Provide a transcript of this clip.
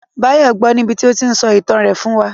Báyọ̀ gbọ́ọ níbití ó tíí n sọ ìtàn rẹ̀ fún wa